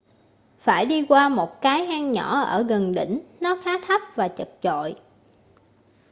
phải đi qua một cái hang nhỏ ở gần đỉnh nó khá thấp và chật chội